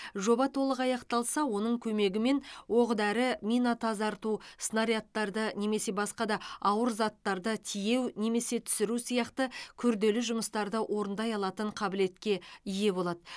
жоба толық аяқталса оның көмегімен оқ дәрі мина тазарту снарядтарды немесе басқа да ауыр заттарды тиеу немесе түсіру сияқты күрделі жұмыстарды орындай алатын қабілетке ие болады